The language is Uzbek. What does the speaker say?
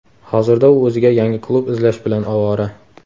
Hozirda u o‘ziga yangi klub izlash bilan ovora.